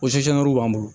O b'an bolo